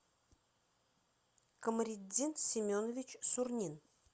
камариддин семенович сурнин